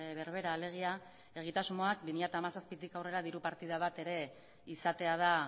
berbera alegia egitasmoak bi mila hamazazpitik aurrera diru partida bat ere izatea da